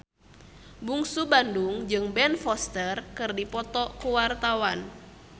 Bungsu Bandung jeung Ben Foster keur dipoto ku wartawan